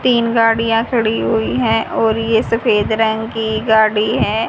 तीन गाड़ियां खड़ी हुई हैं और ये सफेद रंग की गाड़ी है।